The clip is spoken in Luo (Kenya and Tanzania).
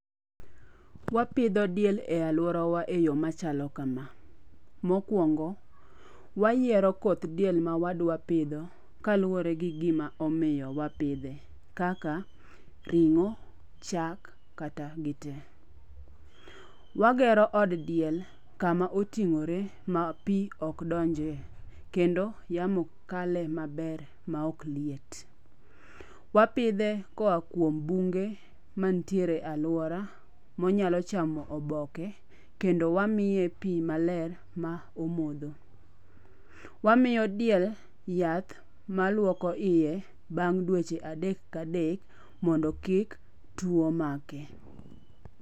Mapidho diel e aluora wa e yo machalo kama. Mokwongo, wayiero koth diel ma wadwa pidho kaluwore gi gima omiyo wapidhe kaka ring'o, chak, kata gite. Wagero od diel kama oting'ore ma pi ok donjie kendo yamo kale maber ma ok liet. Wapidhe koa kuom bunge mantiere e aluara monyalo chamo oboke kendo wamiye pi maler ma omodho. Wamiyo diel yath maluoko iye bang' dweche adek kadek mondo kik tuo make.